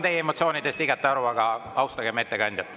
Ma saan teie emotsioonidest igati aru, aga austagem ettekandjat.